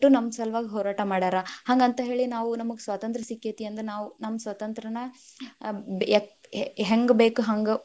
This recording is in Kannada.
ನಮ್ಮ ಸಲುವಾಗಿ ಹೋರಾಟ ಮಾಡ್ಯಾರ, ಹಂಗಂತ ಹೇಳಿ ನಾವು ನಮಗ್ ಸ್ವತಂತ್ರ ಸಿಕ್ಕೇತಿ ಅಂದ ನಾವ ನಮ್ಮ ಸ್ವತಂತ್ರನ ‌ ಹೆ~ಹೆಂಗ್‌ ಬೇಕ ಹಂಗ್‌.